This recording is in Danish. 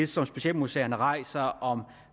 som specialmuseerne rejser om